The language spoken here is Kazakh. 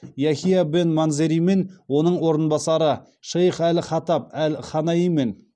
яхия бен манзеримен оның орынбасары шейх әл хатаб әл ханаимен